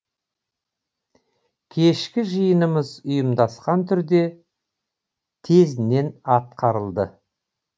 кешкі жиынымыз ұйымдасқан түрде тезінен атқарылды